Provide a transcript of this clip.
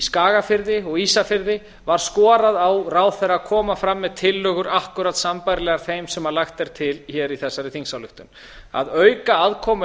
skagafirði og á ísafirði var skorað á ráðherra að koma fram með tillögur akkúrat sambærilegar þeim sem lagt er til hér í þessari þingsályktun að auka aðkomu